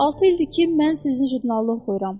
6 ildir ki, mən sizin jurnalı oxuyuram.